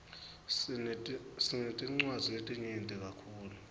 sinetinwadzi letinyeti kakhulu